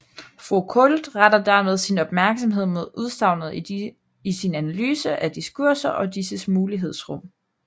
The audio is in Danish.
Foucault retter dermed sin opmærksomhed mod udsagnet i sin analyse af diskurser og disses mulighedsrum